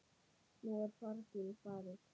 Nú er fargið farið.